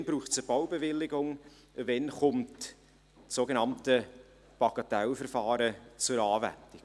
Wann braucht es eine Baubewilligung, wann kommt das sogenannte Bagatellverfahren zur Anwendung?